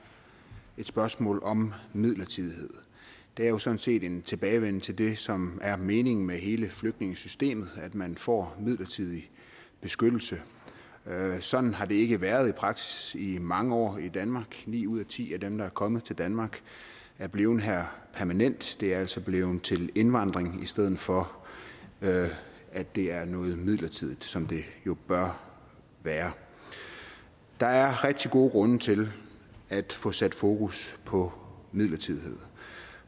et spørgsmål om midlertidighed det er jo sådan set en tilbagevenden til det som er meningen med hele flygtningesystemet at man får midlertidig beskyttelse sådan har det ikke været i praksis i mange år i danmark ni ud af ti af dem der er kommet til danmark er blevet her permanent det er altså blevet til indvandring i stedet for at det er noget midlertidigt som det jo bør være der er rigtig gode grunde til at få sat fokus på midlertidighed